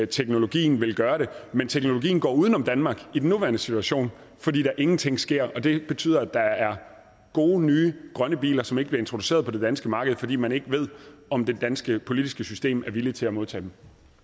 teknologien vil gøre det men teknologien går uden om danmark i den nuværende situation fordi der ingenting sker og det betyder at der er gode nye grønne biler som ikke bliver introduceret på det danske marked fordi man ikke ved om det danske politiske system er villig til at modtage